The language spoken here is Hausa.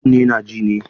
Kunne na ji ne.